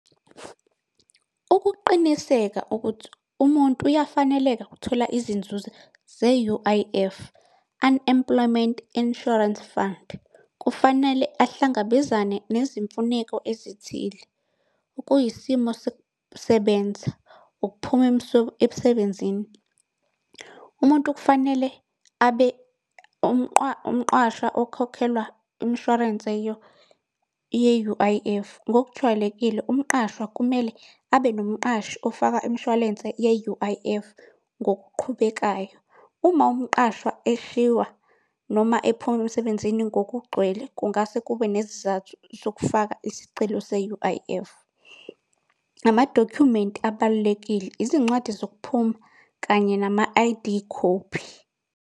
Ukuqiniseka ukuthi umuntu uyafaneleka ukuthola izinzuzo ze-U_I_F, Unemployment Insurance Fund. Kufanele ahlangabezane nezimfuneko ezithile. Kuyisimo sokusebenza. Ukuphuma emsebenzini. Umuntu kufanele abe umqwashwa okhokhelwa imshwarense ye-U_I_F. Ngokujwayelekile umqashwa kumele abe nomqashi ofaka imshwalense ye-U_I_F ngokuqhubekayo. Uma umqashwa eshiywa noma ephuma emsebenzi ngokugcwele kungase kube nesizathu sokufaka isicelo se-U_I_F. Amadokhyumenti abalulekile, izincwadi zokuphuma, kanye nama-I_D khophi.